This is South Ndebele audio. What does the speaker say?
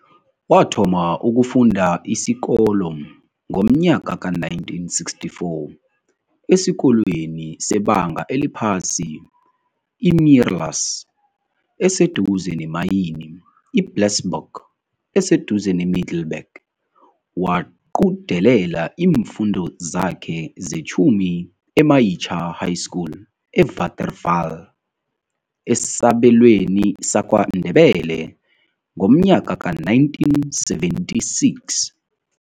Wathoma ukufunda isikolo ngomnyaka ka-1964 esikolweni sebanga eliphasi i-Meerlus eseduze neMayini i-Blesbok eseduze neMiddleburg waqudelela iimfundo zakhe zetjhumi eMayitjha High School eWaterval esabelweni saKwaNdebele ngomnyaka ka-1976.